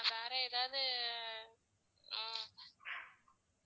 வேற ஏதாவது ஆஹ்